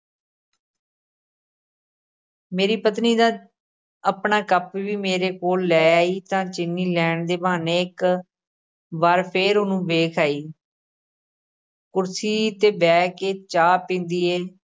ਮੇਰੀ ਪਤਨੀ ਤਾਂ ਆਪਣਾ ਕੱਪ ਵੀ ਮੇਰੇ ਕੋਲ਼ ਲੈ ਆਈ, ਤਾਂ ਚੀਨੀ ਲੈਣ ਦੇ ਬਹਾਨੇ ਇੱਕ ਵਾਰ ਫੇਰ ਉਹਨੂੰ ਵੇਖ ਆਈ ਕੁਰਸੀ 'ਤੇ ਬਹਿ ਕੇ ਚਾਹ ਪੀਂਦੀ ਹੈ